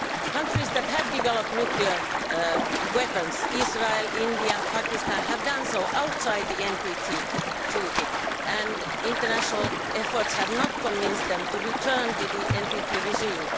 Countries that have developed nuclear weapons Israel, India, Pakistan have done so outside the NPT Treaty, and international efforts have not convinced them to return to the NPT regime.